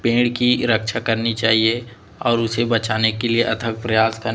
पेड़ की रक्षा करनी चाहिंए और उसे बचाने के लिए अथक प्रयास करने--